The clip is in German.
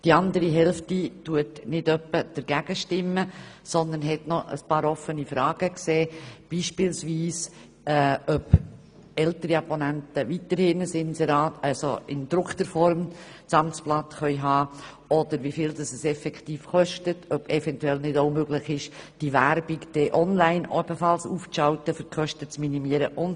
Die andere Hälfte stimmt nicht etwa dagegen, sondern sieht noch ein paar offene Fragen, wie beispielsweise, ob ältere Abonnenten das Amtsblatt dann weiterhin in gedruckter Form erhalten können, wie viel es effektiv kosten wird und ob es nicht eventuell möglich wäre, auch Werbung online aufzuschalten, um die Kosten zu minimieren usw.